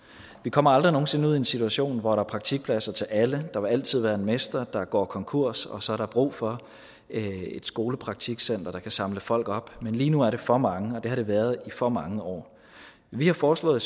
vi kommer aldrig nogen sinde ud i en situation hvor der er praktikpladser til alle der vil altid være en mester der går konkurs og så er der brug for et skolepraktikcenter der kan samle folk op men lige nu er det for mange og det har det været i for mange år vi har foreslået